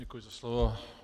Děkuji za slovo.